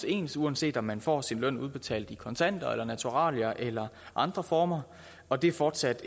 ens uanset om man får sin løn udbetalt i kontanter eller naturalier eller andre former og det er fortsat